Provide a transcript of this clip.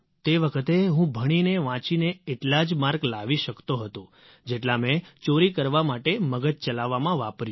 તે વખતે હું ભણીનેવાંચીને એટલા જ માર્ક લાવી શકતો હતો જેટલો મેં ચોરી કરવા માટે મગજ ચલાવવામાં વાપર્યું